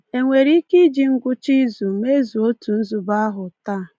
E nwere ike iji ngwụcha izu mezuo otu nzube ahụ taa?